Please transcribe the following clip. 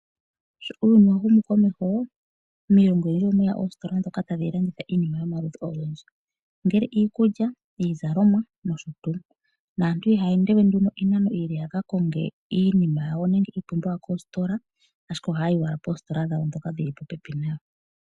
Sho uuyuni wa humu komeho, miilongo oyindji omwe ya oositola ndhoka tadhi landitha iinima yomaludhi ogendji ongele iikulya, iizalomwa nosho tuu. Naantu ihaya ende we nduno iinano iile ya ka konge iinima yawo nenge iipumbiwa koositola, ashike ohaya yi owala poositola ndhoka dhi li popepi nayo.